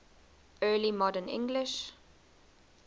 early modern english